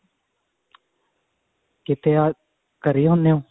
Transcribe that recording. ਕਿੱਥੇ ਓ ਘਰੇ ਹੀ ਹੁਣੇ ਓ